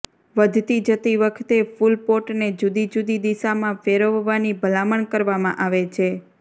વધતી જતી વખતે ફૂલ પોટને જુદી જુદી દિશામાં ફેરવવાની ભલામણ કરવામાં આવે છે